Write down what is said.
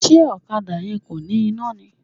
Ṣé ọ̀kadà yẹn kò ní iná ni?